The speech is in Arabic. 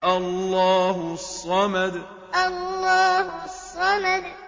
اللَّهُ الصَّمَدُ اللَّهُ الصَّمَدُ